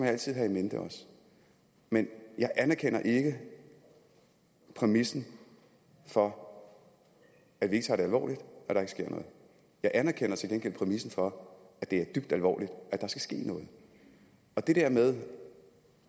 altid have in mente men jeg anerkender ikke præmissen om at vi ikke tager det alvorligt at der ikke sker noget jeg anerkender til gengæld præmissen om at det er dybt alvorligt og at der skal ske noget det der med